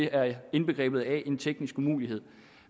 er indbegrebet af en teknisk umulighed